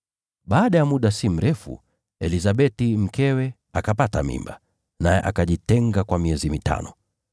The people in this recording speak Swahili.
Baada ya muda usio mrefu, Elizabeti mkewe akapata mimba, naye akajitenga kwa miezi mitano.